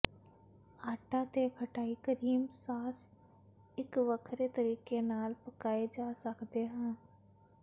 ਆਟਾ ਤੇ ਖਟਾਈ ਕਰੀਮ ਸਾਸ ਇੱਕ ਵੱਖਰੇ ਤਰੀਕੇ ਨਾਲ ਪਕਾਏ ਜਾ ਸਕਦਾ ਹੈ